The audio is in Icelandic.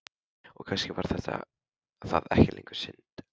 Og kannski var það ekki lengur synd.